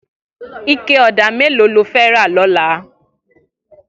Iké ọ̀dá méló ló fè rà lọ̀là?